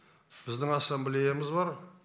біздің ассамблеямыз бар